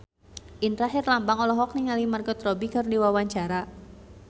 Indra Herlambang olohok ningali Margot Robbie keur diwawancara